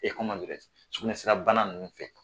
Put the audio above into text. Ee sukunɛsira bana nunnu fɛ